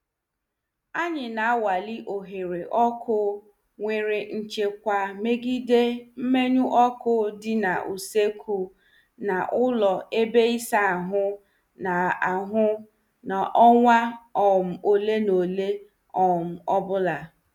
Anyị na- anwale oghere ọkụ nwere nchekwa megide mmenyo ọkụ dị n' usoekwu na ụlọ ebe ịsa ahụ n' ahụ n' ọnwa um ole na ole um ọbụla.